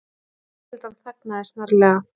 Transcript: Fjölskyldan þagnaði snarlega.